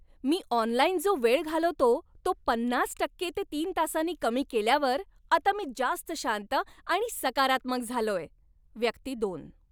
मी online जो वेळ घालवतो तो पन्नास टक्के ते तीन तासांनी कमी केल्यावर आता मी जास्त शांत आणि सकारात्मक झालोय. व्यक्ती दोन